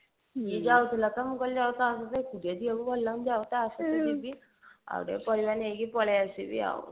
ସିଏ ଯାଉଥିଲ ତ ମୁଁ କହିଲି ଆଉ କାହିଁ କି ଯେ ଏକୁଟିଆ ଯିବାକୁ ଭଲ ଲାଗୁନି ଯାଉଛି ତା ସାଥିରେ ଯିବି ଆଉ ଟିକେ ପାରିବ ନେଇକି ପଳେଈ ଆସିବି ଆଉ